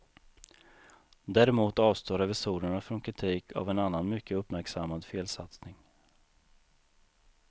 Däremot avstår revisorerna från kritik av en annan mycket uppmärksammad felsatsning.